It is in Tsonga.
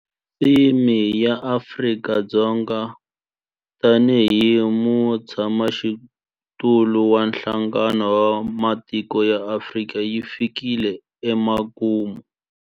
Theme ya Afrika-Dzonga tanihi mutshamaxitulu wa Nhlangano wa Matiko ya Afrika yi fikile emakumu.